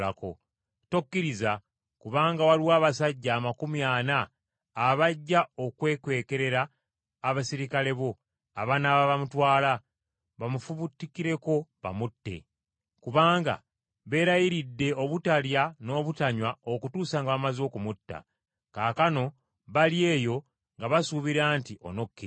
Tokkiriza! Kubanga waliwo abasajja amakumi ana abajja okwekwekerera abaserikale bo abanaaba bamutwala, bamufubutukireko bamutte. Kubanga beerayiridde obutalya n’obutanywa okutuusa nga bamaze okumutta. Kaakano bali eyo nga basuubira nti onokkiriza.”